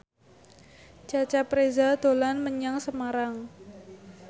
Cecep Reza dolan menyang Semarang